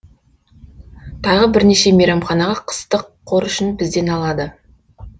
тағы бірнеше мейрамхана қыстық қор үшін бізден алады